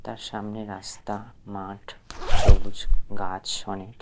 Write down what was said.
তার সামনে রাস্তা মাঠ সবুজ গাছ অনেক।